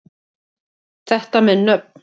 Þetta með nöfn